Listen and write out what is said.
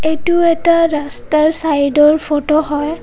এইটো এটা ৰাস্তা ৰ চাইদ ৰ ফটো হয়.